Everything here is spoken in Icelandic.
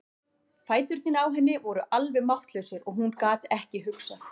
Fæturnir á henni voru alveg máttlausir og hún gat ekki hugsað.